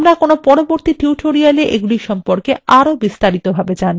আমরা কোনো পরবর্তী tutorials এগুলির সম্পর্কে আরো বিস্তারিত ভাবে জানবো